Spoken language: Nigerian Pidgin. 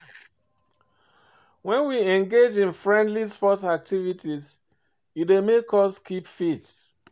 When we engage in friendly sports activities e dey make us keep fit